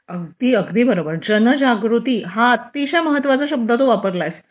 हो अगदी अगदी बरोबर जनजागृती हा अतिशय महत्त्वाचा शब्द तू वापरलेला आहे